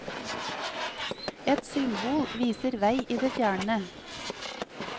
Et symbol viser vei i det fjerne.